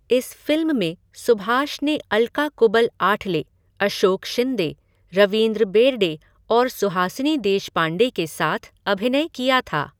इस फ़िल्म में सुभाष ने अलका कुबल आठले, अशोक शिंदे, रवींद्र बेर्डे और सुहासिनी देशपांडे के साथ अभिनय किया था।